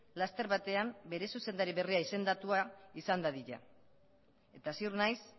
laster batean bere zuzendari berria izendatua izan dadila eta ziur naiz